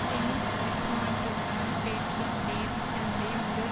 Denis ரிச்மாண்டுடனான பேட்டியில் Davis தன்னுடைய முதல்